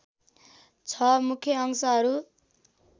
६ मुख्य अंशहरू